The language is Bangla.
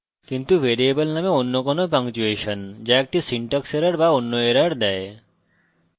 কিন্তু ভ্যারিয়েবল name any কোনো punctuation যা একটি syntax error but any error দেয়